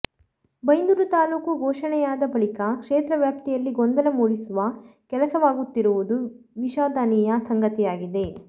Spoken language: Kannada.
ಬೈಂದೂರು ತಾಲೂಕ ಘೋಷಣೆಯಾದ ಬಳಿಕ ಕ್ಷೇತ್ರ ವ್ಯಾಪ್ತಿಯಲ್ಲಿ ಗೊಂದಲ ಮೂಡಿಸುವ ಕೆಲಸವಾಗುತ್ತಿರುವುದು ವಿಷಾಧನೀಯ ಸಂಗತಿಯಾಗಿದೆ